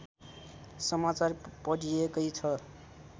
समाचार पढिएकै छ